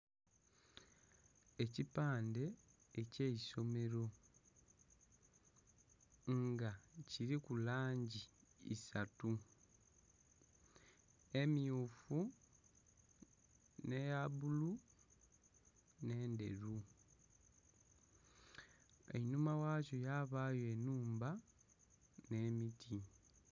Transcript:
Ekipande ekyeisomero nga kiriku langi isatu emmyufu nheya bulu nhe' ndheru. Enhuma ghakyo yabayo enhumba nhe miti